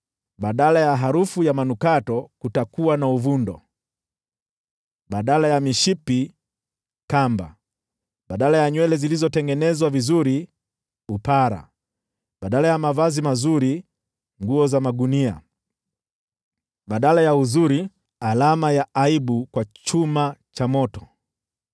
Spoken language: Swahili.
Badala ya harufu ya manukato kutakuwa na uvundo; badala ya mishipi, ni kamba; badala ya nywele zilizotengenezwa vizuri, ni upara; badala ya mavazi mazuri, ni nguo za magunia; badala ya uzuri, ni alama ya aibu kwa chuma cha moto.